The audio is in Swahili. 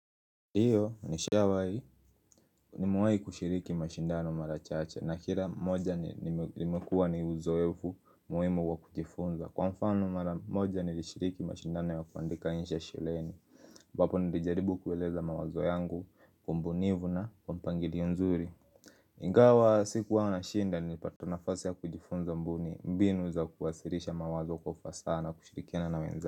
Ndiyo ni shawai nimewai kushiriki mashindano mara chache na kila moja nimekuwa ni uzoevu muhimu wa kujifunza Kwa mfano mara moja nilishiriki mashindano ya kuandika insha shuleni ambapo nilijaribu kueleza mawazo yangu kwa ubunifu na kwa mpangili nzuri Ingawa sikuwa na shinda nilipata nafasi ya kujifunza mbuni mbinu za kuwasilisha mawazo kwa ufasaha nakushirikiana na wenzangu.